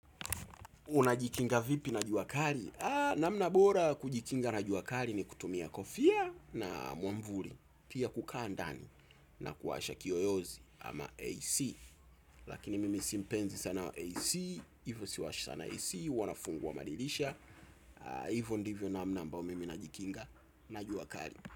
Unajikinga vipi na jua kali? Namna bora ya kujikinga na jua kali ni kutumia kofia na mwavuli. Pia kukaa ndani na kuwasha kiyoyozi ama AC. Lakini mimi si mpenzi sana AC, hivyo siwasha sana AC, huwa nafungua madirisha. Hivyo ndivyo namna ambayo mimi najikinga na jua kali.